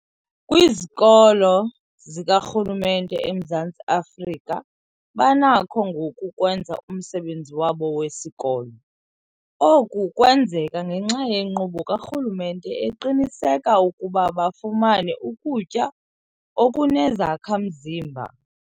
Kwizikolo zikarhulumente eMzantsi Afrika banakho ngoku ukwenza umsebenzi wabo wesikolo. Oku kwenzeka ngenxa yenkqubo karhulumente eqinisekisa ukuba bafumana ukutya okunezakha-mzimba.